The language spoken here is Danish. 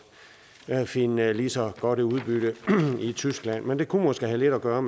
finde lige så godt et udbytte i tyskland men det kunne måske have lidt at gøre